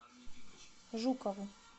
жукову